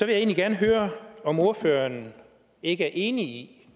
jeg egentlig gerne høre om ordføreren ikke er enig